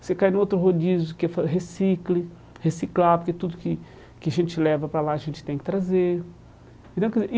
Você cai num outro rodízio que é fa recicle reciclar, porque tudo que que a gente leva para lá a gente tem que trazer.